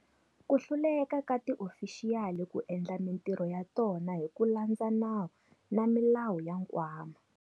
Ku hluleka ka tiofixiyali ku endla mitirho ya tona hi ku landza nawu na milawu ya Nkwama.